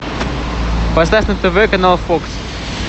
поставь на тв канал фокс